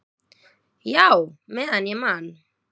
"""Já, meðan ég man."""